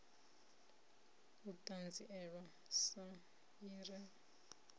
u ṱanzilelwa sa i re